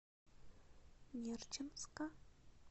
нерчинска